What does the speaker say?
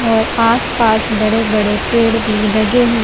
और आस पास बड़े बड़े पेड़ भी लगे ह--